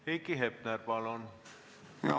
Heiki Hepner, palun!